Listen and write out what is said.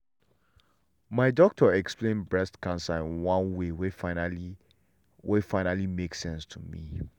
my doctor explain breast cancer in one way wey finally wey finally make sense to me.